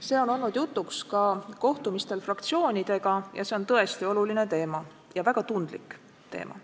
See on olnud jutuks ka kohtumistel fraktsioonidega ja see on tõesti oluline ja väga tundlik teema.